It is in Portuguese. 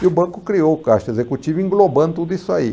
E o banco criou o caixa executivo englobando tudo isso aí.